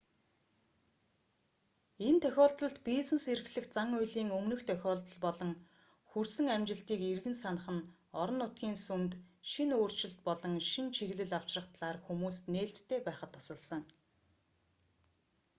энэ тохиолдолд бизнес эрхлэх зан үйлийн өмнөх тохиолдол болон хүрсэн амжилтыг эргэн санах нь орон нутгийн сүмд шинэ өөрчлөлт болон шинэ чиглэл авчрах талаар хүмүүст нээлттэй байхад тусалсан